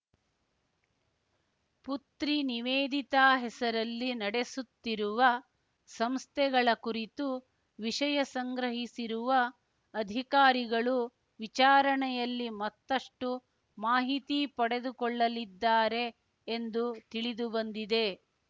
ಪುತ್ರಿ ನಿವೇದಿತಾ ಹೆಸರಲ್ಲಿ ನಡೆಸುತ್ತಿರುವ ಸಂಸ್ಥೆಗಳ ಕುರಿತು ವಿಷಯ ಸಂಗ್ರಹಿಸಿರುವ ಅಧಿಕಾರಿಗಳು ವಿಚಾರಣೆಯಲ್ಲಿ ಮತ್ತಷ್ಟುಮಾಹಿತಿ ಪಡೆದುಕೊಳ್ಳಲಿದ್ದಾರೆ ಎಂದು ತಿಳಿದು ಬಂದಿದೆ